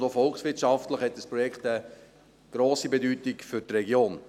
Auch volkswirtschaftlich hat das Projekt eine grosse Bedeutung für die Region.